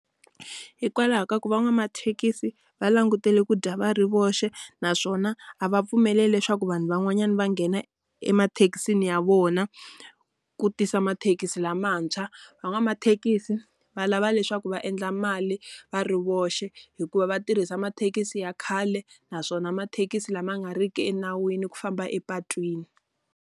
Hikwalaho ka ku van'wamathekisi va langutele ku dya va ri voxe naswona, a va pfumeleli leswaku vanhu van'wanyana va nghena emathekisini ya vona ku tisa mathekisi lamantshwa. Van'wamathekisi va lava leswaku va endla mali va ri voxe hikuva va tirhisa mathekisi ya khale, naswona mathekisi lama nga ri ki enawini ku famba epatwini.